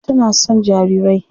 Binta tana son jarirai.